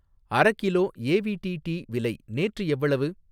அரகிலோ A V T tea விலை நேற்று எவ்வளவு?